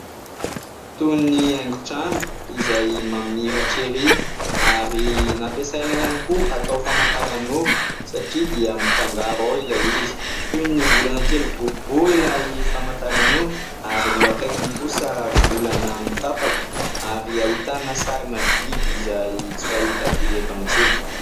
Toy ny haingon-trano izay mamiratra ery ary nampiasaina ihany koa atao famantaranora satria dia mifangaro ao ilay izy. Toy ny volana kely boribory ilay famantaranora ary ny eo akaikiny kosa volana mitapaka ary ahitana sarina biby izay tsy fahita firy eto amintsika.